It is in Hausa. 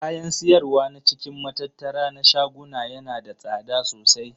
Kayan siyarwa na cikin matattara na shaguna yana da tsada sosai.